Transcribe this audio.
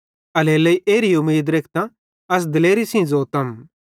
एल्हेरेलेइ एरी उमीद रेखतां अस दिलेरी सेइं ज़ोतम